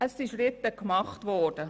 Es wurden Schritte unternommen.